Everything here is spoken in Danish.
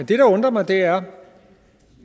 det der undrer mig er